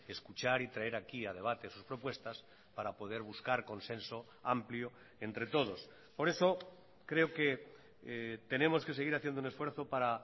escuchar y traer aquí a debate sus propuestas para poder buscar consenso amplio entre todos por eso creo que tenemos que seguir haciendo un esfuerzo para